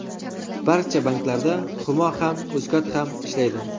Barcha banklarda Humo ham, Uzcard ham ishlaydi.